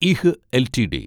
ഇഹ് LTD